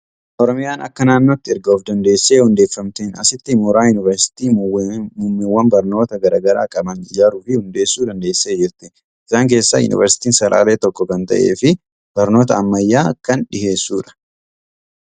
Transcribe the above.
Oromiyaan akka naannootti erga of dandeessee hundeeffamteen asitti mooraa Yuuniversiitii muummeewwan barnoota garaa garaa qaban ijaaruu fi hundeessuu dandeessee jirti. Isaan keessaa Yuunivarsiitiin Salaalee tokko kan ta'ee fi barnoota ammayyaa kan dhiyeessudha.